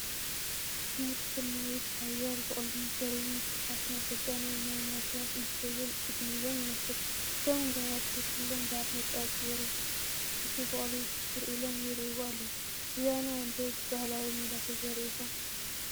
ምህርቲ ስርናይ ብሓያል በቑሉን ፈርዩን ብዙሓት ናይ ስልጣን ወይ ናይ ሙያ ሰባት እንትሪእዎን እንትጉብንዩዎን የመልክት፡፡ እቶም ጋያሹ ኩሎም ባርኔጣ ጌሮም ነቲ በቑሊ ትኩር ኢሎም ይሪእዎ ኣለው፡፡ ብዘበናዊ ዶ ብባህላዊ ሜላ ተዘሪኡ ይኾን?